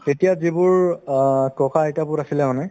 তেতিয়া যিবোৰ অ ককা-আইতাবোৰ আছিলে মানে